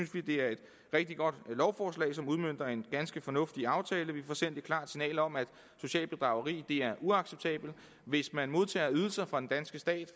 det er et rigtig godt lovforslag som udmønter en ganske fornuftig aftale vi får sendt et klart signal om at socialt bedrageri er uacceptabelt hvis man modtager ydelser fra den danske stat